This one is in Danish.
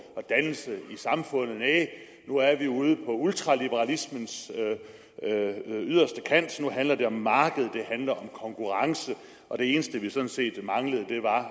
og dannelse i samfundet næh nu er vi ude på ultraliberalismens yderste kant nu handler det om markedet det handler om konkurrence og det eneste vi sådan set manglede var